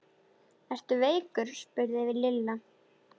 Ertu veikur? spurði Lilla.